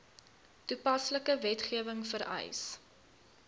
toepaslike wetgewing vereis